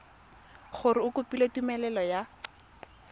gore o kopile tumelelo ya